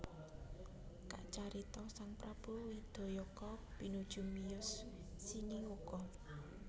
Kacarita sang prabu Widayaka pinuju miyos siniwaka